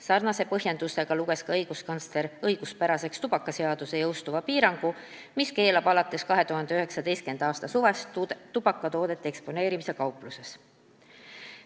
Samasuguse põhjendusega luges õiguskantsler õiguspäraseks tubakaseaduse jõustuva piirangu, mis keelab alates 2019. aasta suvest tubakatoodete eksponeerimise kaupluses.